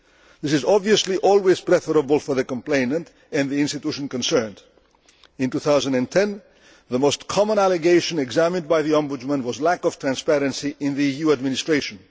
This is obviously always preferable for the complainant and the institution concerned. In 2010 the most common allegation examined by the Ombudsman was lack of transparency in the EU administration.